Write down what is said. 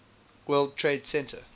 world trade center